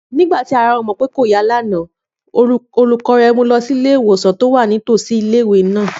Nígbà tí ara Àmọ̀pé kò yá lánàá, olùkọ́ rẹ̀ mu lọ sí ilé-ìwòsàn tó wà ní tòsí ilé-ìwé náà